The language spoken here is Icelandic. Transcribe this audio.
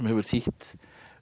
hefur þýtt